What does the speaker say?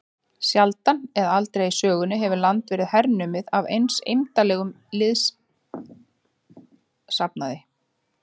Sjaldan eða aldrei í sögunni hefur land verið hernumið af eins eymdarlegum liðsafnaði.